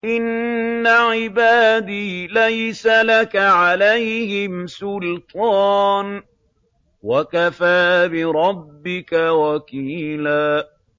إِنَّ عِبَادِي لَيْسَ لَكَ عَلَيْهِمْ سُلْطَانٌ ۚ وَكَفَىٰ بِرَبِّكَ وَكِيلًا